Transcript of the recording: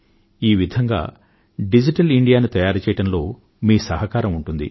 ఈ విధంగా డిజిటల్ ఇండియాను తయారుచేయడంలో మీ సహకారం ఉంటుంది